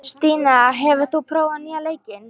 Stína, hefur þú prófað nýja leikinn?